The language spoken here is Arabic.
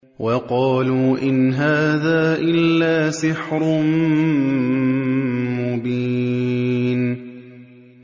وَقَالُوا إِنْ هَٰذَا إِلَّا سِحْرٌ مُّبِينٌ